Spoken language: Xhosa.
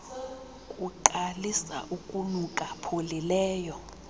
kuqalisa ukunuka pholileleyo